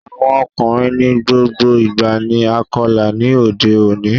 Awọn ọkunrin ni gbogbo ìgba ni Akọla ní odé òní